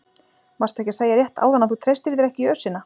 Varstu ekki að segja rétt áðan að þú treystir þér ekki í ösina?